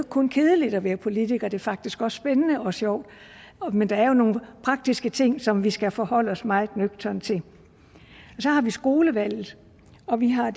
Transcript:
kun kedeligt at være politiker det er faktisk også spændende og sjovt men der er nogle praktiske ting som vi skal forholde os meget nøgternt til så har vi skolevalget og vi har